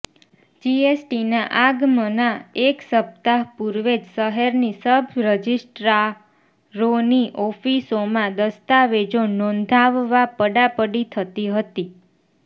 જીએસટીના આગમના એક સપ્તાહ પૂર્વે જ શહેરની સબ રજિસ્ટ્રારોની ઓફિસોમાં દસ્તાવેજો નોંધાવવા પડાપડી થતી હતી